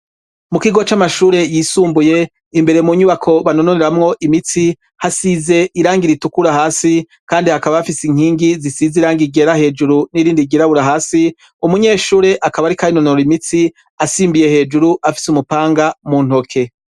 Mu kigo c'amashure yisumbuye imbere mu nyubako banononeramwo imitsi hasize irangire itukura hasi kandi akaba afise inkingi zisize irangi ryera hejuru n'irindi girabura hasi umunyeshure akaba ari karinonoro imitsi asimbiye hejuru afise umupanga mu ntoke.